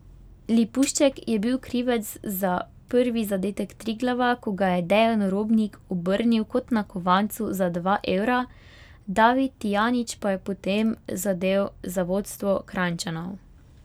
Lipušček je bil krivec za prvi zadetek Triglava, ko ga je Dejan Robnik obrnil kot na kovancu za dva evra, David Tijanić pa je potem zadel za vodstvo Kranjčanov.